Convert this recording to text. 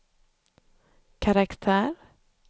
karaktär